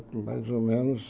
E mais ou menos...